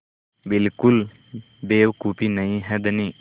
बिल्कुल बेवकूफ़ी नहीं है धनी